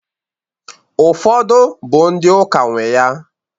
Ufodu bụ ndị ụka nwee ya